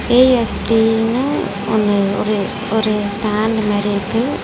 ஏ_எஸ்_கேனு ஒன்னு ஒரு ஒரு ஸ்டாண்ட் மாரி இருக்கு.